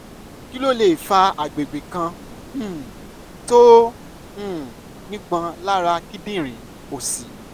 kí ló lè fa àgbègbè kan um tó um nípọn lára kíndìnrín òsì?